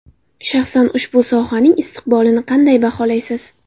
Shaxsan ushbu sohaning istiqbolini qanday baholaysiz?